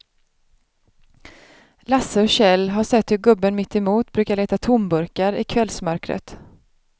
Lasse och Kjell har sett hur gubben mittemot brukar leta tomburkar i kvällsmörkret.